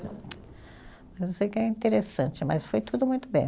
Eu sei que é interessante, mas foi tudo muito bem.